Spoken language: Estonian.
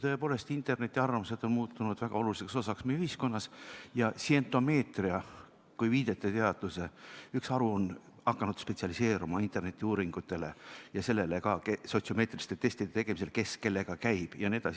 Tõepoolest, internetiarvamused on muutunud väga oluliseks osaks meie ühiskonnas ja sientomeetria kui viiteteaduse üks haru on hakanud spetsialiseeruma internetiuuringutele ja ka sotsiomeetriliste testide tegemisele, et kes kellega käib ja nii edasi.